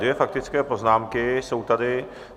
Dvě faktické poznámky jsou tady.